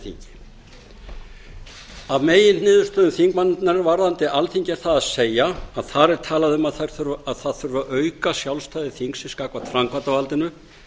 þingi af meginniðurstöðu þingmannanefndarinnar varðandi alþingi er það að segja að þar er talað um að það þurfi að auka sjálfstæði þingsins gagnvart framkvæmdarvaldinu